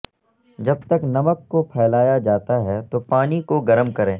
جب تک نمک کو پھیلایا جاتا ہے تو پانی کو گرم کریں